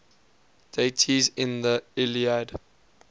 deities in the iliad